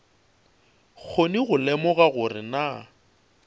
kgone go lemoga gore na